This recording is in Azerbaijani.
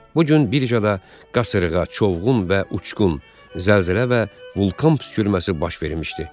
Bu gün birjada qasırğa, çovğun və uçqun, zəlzələ və vulkan püskürməsi baş vermişdi.